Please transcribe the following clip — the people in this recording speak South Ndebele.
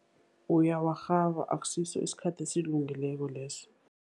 Uyawarhaba, akusiso isikhathi esilungileko leso.